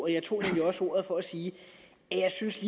jeg tog nemlig også ordet for at sige at jeg synes